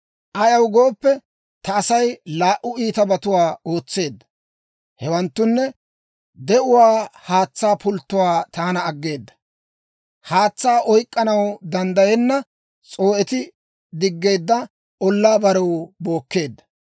Ayaw gooppe, ta Asay laa"u iitabatuwaa ootseedda; hewanttunne, de'uwaa haatsaa pulttuwaa taana aggeeda; haatsaa oyk'k'anaw danddayenna, s'oo'etti diggeedda ollaa barew bookkeedda.